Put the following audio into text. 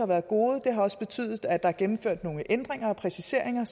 været gode de har også betydet at der er gennemført nogle ændringer og præciseringer